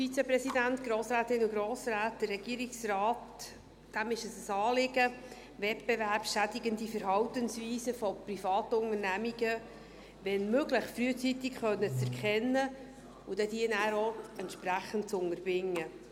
Dem Regierungsrat ist es ein Anliegen, wettbewerbsschädigende Verhaltensweisen von Privatunternehmungen, wenn möglich, frühzeitig erkennen zu können und diese dann auch entsprechend zu unterbinden.